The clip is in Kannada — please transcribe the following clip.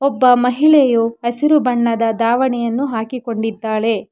ಒಬ್ಬ ಮಹಿಳೆಯು ಹಸಿರು ಬಣ್ಣದ ದಾವಣಿಯನ್ನು ಹಾಕಿಕೊಂಡಿದ್ದಾಳೆ.